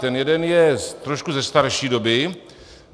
Ten jeden je trošku ze starší doby.